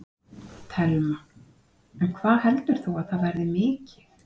Telma: En hvað heldur þú að það verði mikið?